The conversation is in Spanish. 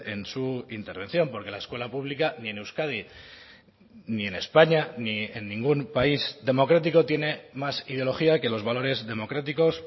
en su intervención porque la escuela pública ni en euskadi ni en españa ni en ningún país democrático tiene más ideología que los valores democráticos